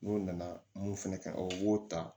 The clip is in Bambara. N'o nana mun fɛnɛ kɛ o b'o ta